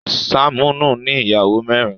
Saminu ní Ìyàwó mẹrin.